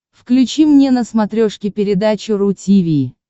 включи мне на смотрешке передачу ру ти ви